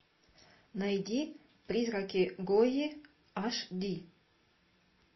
найди призраки гойи аш ди